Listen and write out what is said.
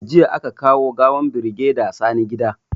Jiya aka kawo gawan birigeda Sani gida